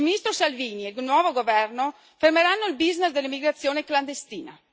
Il Ministro Salvini e il nuovo governo fermeranno il business dell'immigrazione clandestina.